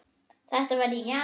Þetta var í janúar.